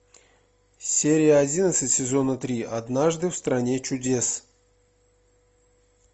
серия одиннадцать сезона три однажды в стране чудес